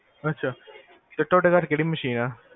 ਅਛਾ ਤੇ ਤੋਡੇ ਘਰ ਕੇਹੜੀ ਮਸ਼ੀਨ ਆ